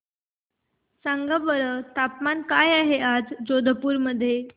सांगा बरं तापमान काय आहे आज जोधपुर चे